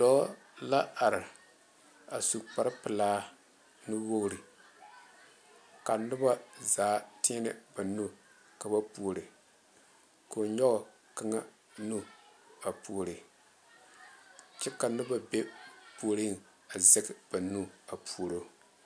Dɔɔ la are a su kpare pelaa nuwogiri ka noba zaa teɛne ba nu ka ba puori ka o nyɔge kaŋa nu a puori kyɛ ka noba be o puoriŋ a sɛge ba nu a puoro